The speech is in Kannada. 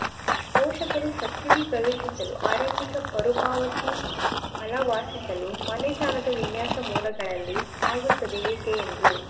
ಪೋಷಕರು ಸಬ್ಸಿಡಿ ಪ್ರವೇಶಿಸಲು ಆರಂಭಿಕ ಮರುಪಾವತಿ ಬಲ ವಾಸಿಸಲು ಮನೆ ಸಾಲದ ವಿನ್ಯಾಸ ಮೂಲಗಳಲ್ಲಿ ಆಗುತ್ತದೆ ಏಕೆ ಎಂದು